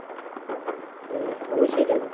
হুম অবশই যাবো